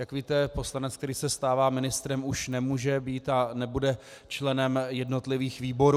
Jak víte, poslanec, který se stává ministrem, už nemůže být a nebude členem jednotlivých výborů.